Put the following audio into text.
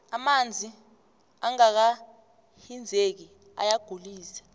amanzi angaka hinzeki ayagulise